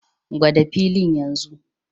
Gwada filin yanzu!